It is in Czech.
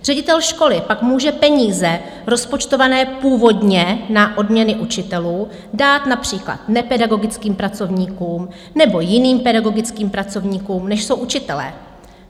Ředitel školy pak může peníze rozpočtované původně na odměny učitelů dát například nepedagogickým pracovníkům nebo jiným pedagogickým pracovníkům, než jsou učitelé.